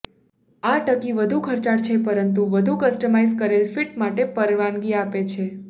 આ ટકી વધુ ખર્ચાળ છે પરંતુ વધુ કસ્ટમાઇઝ કરેલ ફિટ માટે પરવાનગી આપે છે